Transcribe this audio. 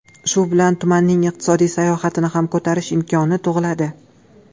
Shu bilan tumanning iqtisodiy salohiyatini ham ko‘tarish imkoni tug‘iladi.